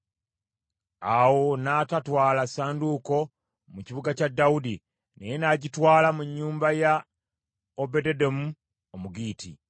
Awo n’atatwala ssanduuko mu kibuga kya Dawudi, naye n’agitwala mu nnyumba ya Obededomu Omugitti.